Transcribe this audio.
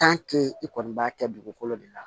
i kɔni b'a kɛ dugukolo de la